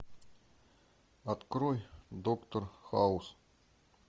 открой доктор хаус